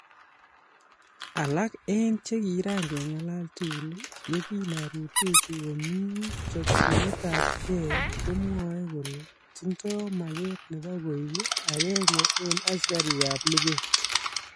Alak en che kigaking'alal tugul ye kin arutechi komii chopchinetab gee komwoe kole tindo mageet nebo koik agenge en asikarikab luget